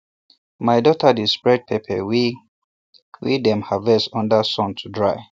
my daughter dey spread pepper wey wey dem harvest under sun to dry